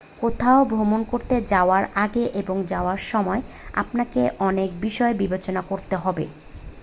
কোথাও ভ্রমণ করতে যাওয়ার আগে এবং যাওয়ার সময় আপনাকে অনেক বিষয় বিবেচনা করতে হবে